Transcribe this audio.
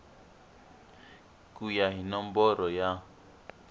ku ya hi nomboro ya